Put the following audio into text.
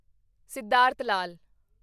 Siddhartha Lal